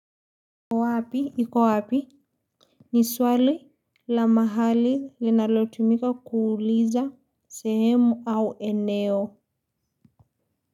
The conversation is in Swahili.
Iko wapi ni swali la mahali linalotumika kuuliza sehemu au eneo.